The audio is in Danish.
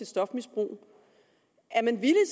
stofmisbrug er man